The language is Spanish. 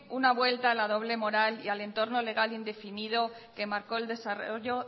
una vuelta a la doble moral y al entorno legal indefino que marcó el desarrollo